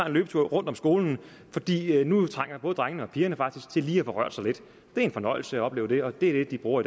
en løbetur rundt om skolen fordi nu trænger både drengene og pigerne faktisk til lige at få rørt sig lidt det er en fornøjelse at opleve det det er det de bruger